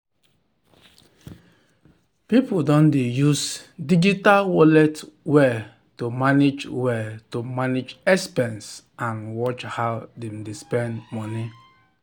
people don dey use digital wallet well to manage well to manage expense and watch how dem dey spend money.